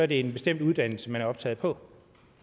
det én bestemt uddannelse man er optaget på